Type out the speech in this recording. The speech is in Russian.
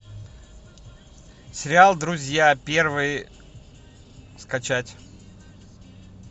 сериал друзья первый скачать